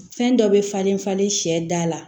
Fɛn dɔ bɛ falen falen sɛ da la